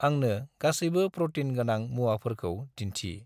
आंनो गासैबो प्रटीन गोनां मुवाफोरखौ दिन्थि।